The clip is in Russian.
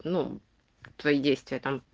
ну твои действия там